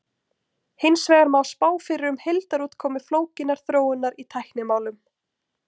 hins vegar má spá fyrir um heildarútkomu flókinnar þróunar í tæknimálum